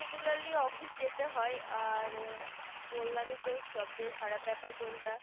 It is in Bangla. regularly office যেতে হয় আর বললামই তো সব থেকে খারাপ বেপার কোনটা